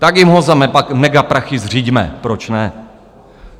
Tak jim ho za megaprachy zřiďme, proč ne!